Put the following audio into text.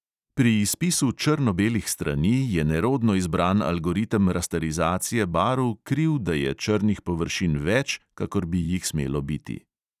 Pri izpisu črno-belih strani je nerodno izbran algoritem rasterizacije barv kriv, da je črnih površin več, kakor bi jih smelo biti.